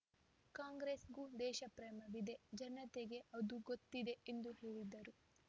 ಕಾಂಗ್ರೆಸ್‌ಗೂ ದೇಶಪ್ರೇಮವಿದೆ ಜನತೆಗೆ ಅದು ಗೊತ್ತಿದೆ ಎಂದು ಹೇಳಿದರು